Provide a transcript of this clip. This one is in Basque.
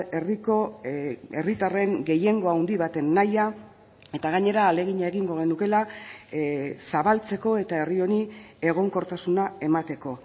herriko herritarren gehiengo handi baten nahia eta gainera ahalegina egingo genukeela zabaltzeko eta herri honi egonkortasuna emateko